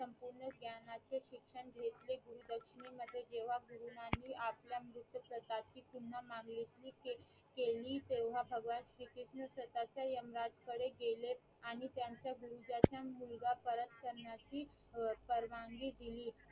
मध्ये जेव्हा गुरुनानी आपल्या मृतप्रता पुन्हा मागणी केली तेव्हा भगवान श्री कृष्ण स्वतःच यमराज कडे गेले आणि त्यांच्या गुरुदाचा मुलगा परत करण्याची अं परवानगी दिली